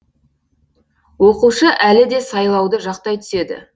оқушы әлі де сайлауды жақтай түседі